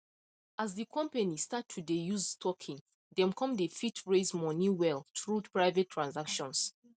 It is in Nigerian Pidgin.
as the company start to dey use token them come dey fit raise money well through private transactions